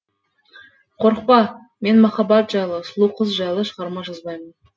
қорықпа мен махаббат жайлы сұлу қыз жайлы шығарма жазбаймын